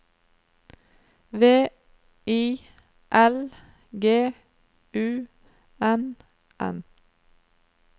V I L G U N N